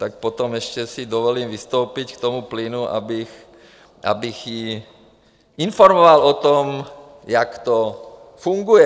Tak potom ještě si dovolím vystoupit k tomu plynu, abych ji informoval o tom, jak to funguje.